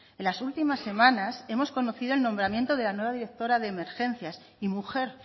en las últimas semanas hemos conocido el nombramiento de la nueva directora de emergencias y mujer